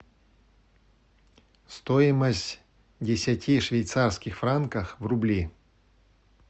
стоимость десяти швейцарских франков в рубли